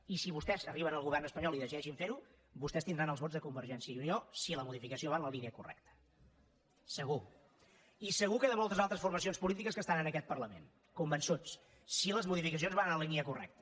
i si vostès arriben al govern espanyol i decideixen ferho vostès tindran els vots de convergència i unió si la modificació va en la línia correcta segur i segur que de moltes altres formacions polítiques que estan en aquest parlament convençuts si les modificacions van en la línia correcta